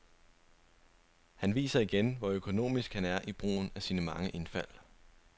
Han viser igen, hvor økonomisk han er i brugen af sine mange indfald.